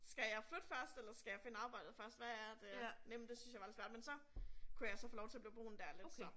Skal jeg flytte først eller skal jeg finde arbejde først hvad er det, det synes jeg var lidt svært. Men så, kunne jeg så få lov at blive boende der lidt så